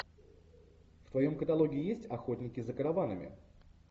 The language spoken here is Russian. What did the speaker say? в твоем каталоге есть охотники за караванами